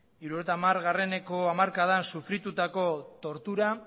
hirurogeita hamareneko hamarkadan sufritutako tortura